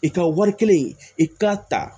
I ka wari kɛlen i k'a ta